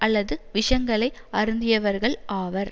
அல்லது விஷங்களை அருந்தியவர்கள் ஆவர்